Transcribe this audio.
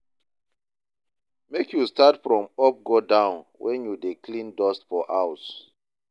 Make you start from up go down when you dey clean dust for house.